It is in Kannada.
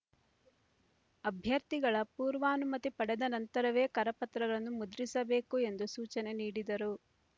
ಅಭ್ಯರ್ಥಿಗಳ ಪೂರ್ವಾನುಮತಿ ಪಡೆದ ನಂತರವೇ ಕರಪತ್ರಗಳನ್ನು ಮುದ್ರಿಸಬೇಕು ಎಂದು ಸೂಚನೆ ನೀಡಿದರು